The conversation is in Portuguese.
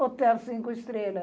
Hotel Cinco Estrela.